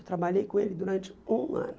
Eu trabalhei com ele durante um ano.